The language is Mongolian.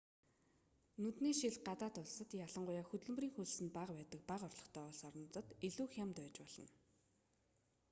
нүдний шил гадаад улсад ялангуяа хөдөлмөрийн хөлс нь бага байдаг бага орлоготой улс орнуудад илүү хямд байж болно